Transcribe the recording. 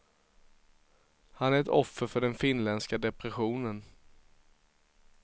Han är ett offer för den finländska depressionen.